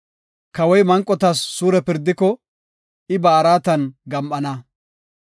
Kawoy manqotas suure pirdiko, I ba araatan gam7ana.